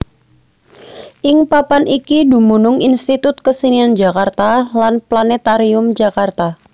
Ing papan iki dumunung Institut Kesenian Jakarta lan Planètarium Jakarta